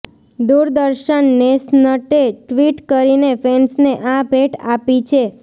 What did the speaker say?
દૂરદર્શન નેશનટે ટ્વિટ કરીને ફેન્સને આ ભેટ આપી છે